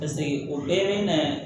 o bɛɛ bɛ na